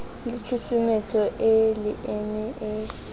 le tshusumetso e leeme e